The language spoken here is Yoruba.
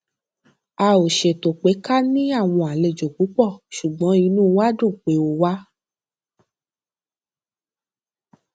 a ò ṣètò pé ká ní àwọn àlejò púpọ ṣùgbọn inú wa dùn pé o wá